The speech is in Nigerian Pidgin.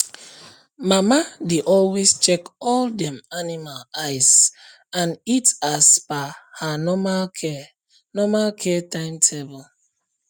mama dey always check all dem animal eyes and eat as per her normal care normal care timetable